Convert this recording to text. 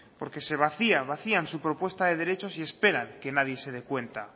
porque se vacía vacían su propuesta de derechos y esperan que nadie se dé cuenta